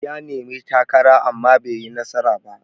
Ya nemi takara amma baiyi nasara ba.